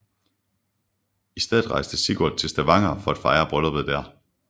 I stedet rejste Sigurd til Stavanger for at fejre brylluppet der